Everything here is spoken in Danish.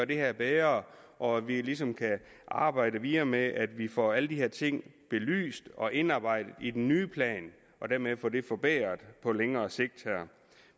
det her bedre og at vi ligesom kan arbejde videre med at vi får alle de her ting belyst og indarbejdet i den nye plan og dermed får det forbedret på længere sigt